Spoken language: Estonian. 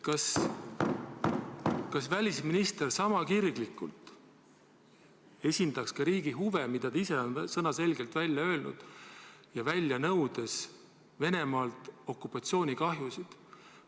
Kas välisminister sama kirglikult esindaks riigi huve, mida ta ise on sõnaselgelt välja öelnud, välja nõudes Venemaalt okupatsioonikahjusid?